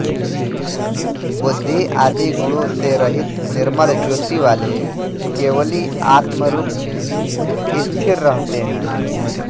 बुद्धि आदि गुणों से रहित निर्मल ज्योतिवाले केवली आत्मरूप में स्थिर रहते हैं